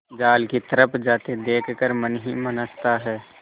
जाल की तरफ जाते देख कर मन ही मन हँसता है